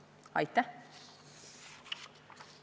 Aitäh!